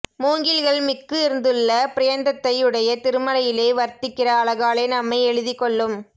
மூங்கில்கள் மிக்கு இருந்துள்ள பர்யந்தத்தை யுடைய திருமலையிலே வர்த்திக்கிற அழகாலே நம்மை எழுதிக் கொள்ளும்